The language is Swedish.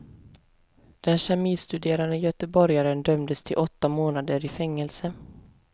Den kemistuderande göteborgaren dömdes till åtta månader i fängelse.